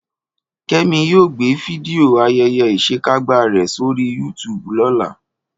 Kẹ́mi yóò gbé fídíò ayẹyẹ ìṣekágbá rẹ̀ sórí YouTube lọ́la